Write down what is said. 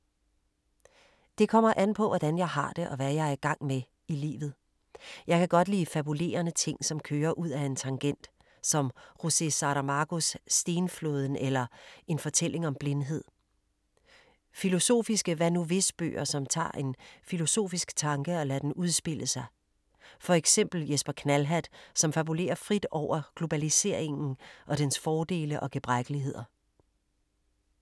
Det kommer an på hvordan jeg har det og hvad jeg er i gang med i livet. Jeg kan godt lide fabulerende ting, som kører ud af en tangent. Som José Saramagos Stenflåden eller En fortælling om blindhed. Filosofiske Hvad-nu-hvis-bøger, som tager en filosofisk tanke og lader den udspille sig. For eksempel Jesper Knallhatt, som fabulerer frit over globaliseringen og dens fordele og gebrækkeligheder.